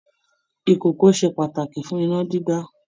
Ìkòkò ṣe pàtàkì fún iná dídá